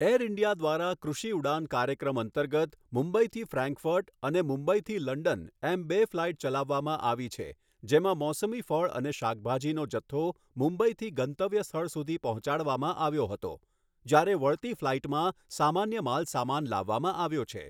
Air India દ્વારા કૃષિ ઉડાન કાર્યક્રમ અંતર્ગત મુંબઇથી ફ્રેન્કફર્ટ અને મુંબઇથી લંડન એમ બે ફ્લાઇટ ચલાવવામાં આવી છે જેમાં મોસમી ફળ અને શાકભાજીનો જથ્થો મુંબઇથી ગંતવ્ય સ્થળ સુધી પહોંચાડવામાં આવ્યો હતો જ્યારે વળતી ફ્લાઇટમાં સામાન્ય માલસામાન લાવવામાં આવ્યો છે.